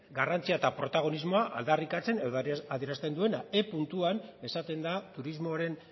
garrantzia eta protagonismoa aldarrikatzen edo adierazten duena e puntuan esaten da turismoaren